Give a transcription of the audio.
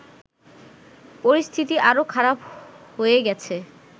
পরিস্থিতি আরো খারাপ হয়ে গেছে